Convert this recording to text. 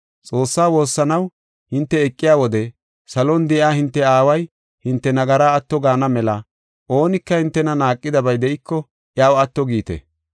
Xoossaa woossanaw hinte eqiya wode, salon de7iya hinte Aaway hinte nagara atto gaana mela, oonika hintena naaqidabay de7iko, iyaw atto giite.